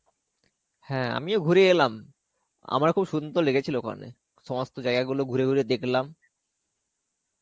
হ্যাঁ, আমিও ঘুরে এলাম. আমারও খুব সুন্দর লেগেছিলো ওখানে. সমস্ত জায়গাগুলো ঘুরে ঘুরে দেখলাম.